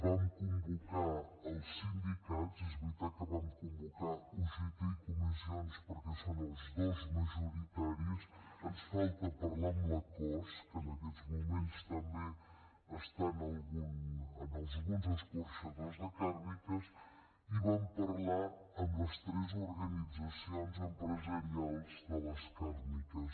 vam convocar els sindicats és veritat que vam convocar ugt i comissions perquè són els dos majoritaris ens falta parlar amb la cos que en aquests moments està en alguns escorxadors de càrniques i vam parlar amb les tres organitzacions empresarials de les càrniques